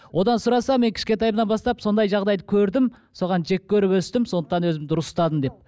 одан сұраса мен кішкентайымнан бастап сондай жағдайды көрдім соған жек көріп өстім сондықтан өзімді дұрыс ұстадым деп